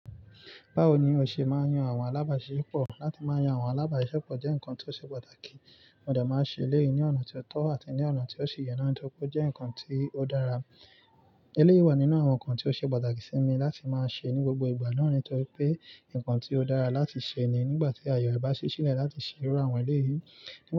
Báwo ni o ṣe máa ń yan àwọn alábàáṣepọ̀? Láti máa yan àwọn alábàáṣisepọ̀ jẹ́ nǹkan tó ṣe pàtàkì. Mo de máa ṣe eléyìí ní ọ̀nà tí ó tọ́ àti ní ọ̀nà tí ó sì yẹ tori ó jẹ́ nǹkan tí ó dára. Eléyìí wà nínú àwọn nǹkan tí ó ṣe pàtàkì sí mi láti máa ṣe ní gbogbo ìgbà nitorí pé nǹkan tí ó dára láti ṣe ni nígbà tí ayọ̀ bá ṣí sílẹ̀ láti ṣe irú àwọn eléyìí. Nígbà tí.